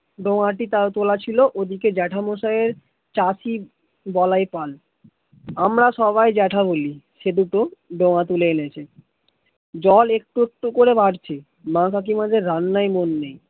দো আটি তাল তোলা ছিল ওই দিকে জ্যেঠামশাইয়ের চাষী গলায় পান আমার সবাই জ্যেঠা বলি সে দুটো ডোঙা তুলে এনেছে, জল একটু একটু করে বাড়ছে মা কাকিমাদের রান্নায় মন নেই